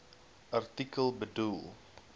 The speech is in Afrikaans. artikel bedoel